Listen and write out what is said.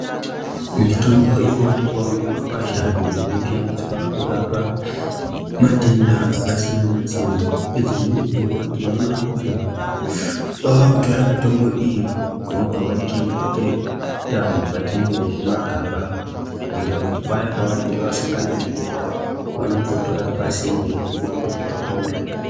Mitombo inowanikwawo mumakwasha iyo inoshandiswa kurapa matenda akasiyana siyana ngedzimweni dzenguwa tinoona kuti vantu vakutora mitombo iyi vobva vaichengetera mukati mwezvimagaba kuita kuti paya pavanonga vasangana nedenda vanongotora pasinde vomwa kuti vapore.